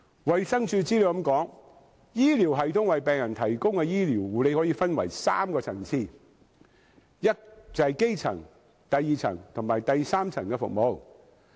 衞生署的資料這樣說，"醫療系統為病人提供的醫療護理可分為三個層次——即基層、第二層及第三層醫療服務。